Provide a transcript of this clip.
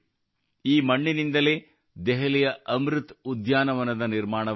ಈ ಮಣ್ಣಿನಿಂದಲೇ ದೆಹಲಿಯ ಅಮೃತ್ ಉದ್ಯಾನವನದ ನಿರ್ಮಾಣವಾಗಲಿದೆ